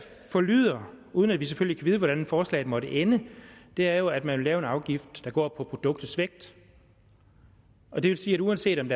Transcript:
forlyder uden at vi selvfølgelig kan vide hvordan forslaget måtte ende er jo at man vil lave en afgift der går på produktets vægt og det vil sige at uanset om